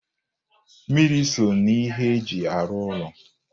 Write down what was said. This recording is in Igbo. Mmiri so n'ihe e ji arụ ụlọ